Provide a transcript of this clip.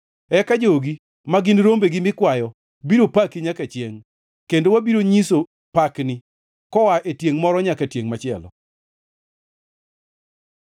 Eka jogi, ma gin rombegi mikwayo, biro paki nyaka chiengʼ, kendo wabiro nyiso pakni, koa e tiengʼ moro nyaka tiengʼ machielo.